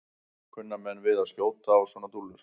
Kunna menn við að skjóta á svona dúllur?